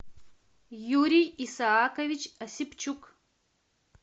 юрий исаакович осипчук